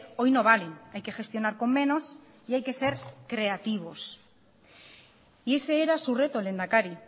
hoy no valen hay que gestionar con menos y hay que ser creativos y ese era su reto lehendakari